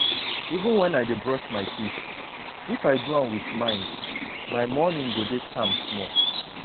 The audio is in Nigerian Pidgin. even when i dey brush my teeth if i do am with mind my morning go dey calm small.